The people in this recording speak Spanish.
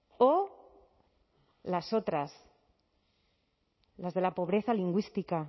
o las otras las de la pobreza lingüística